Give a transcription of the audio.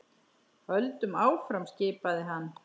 Höldum áfram skipaði hann.